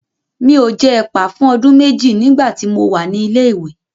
Mi ò jẹ ẹ̀pà fún ọdún méjì nígbà tí mo wà ní ilé ìwé.